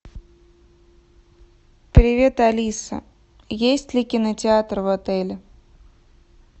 привет алиса есть ли кинотеатр в отеле